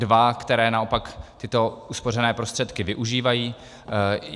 Dva, které naopak tyto uspořené prostředky využívají.